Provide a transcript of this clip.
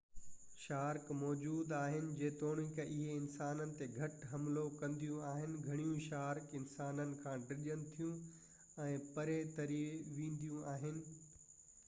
shark موجود آهن جيتوڻڪ اهي انسانن تي گهٽ حملو ڪنديون آهن گھڻيون شارڪ انسانن کان ڊڄن ٿيون ۽ پري تري وينديون آهن